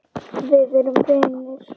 Við erum vinir.